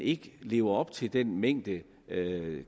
ikke lever op til den mængde